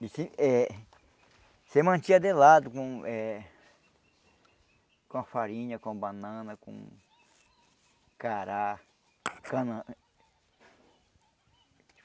Eh... Você mantinha de lado com eh... com a farinha, com banana, com... cará. Cana